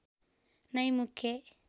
नै मुख्य